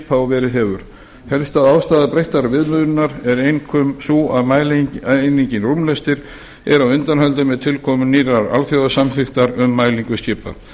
og verið hefur helsta ástæða breyttrar viðmiðunar er einkum sú að mælieiningin rúmlestir er á undanhaldi með tilkomu nýrrar alþjóðasamþykktar um mælingu skipa